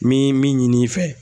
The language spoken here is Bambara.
Mi ye min ɲin'i fɛ